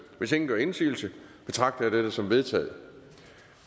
hvis ingen gør indsigelse betragter jeg dette som vedtaget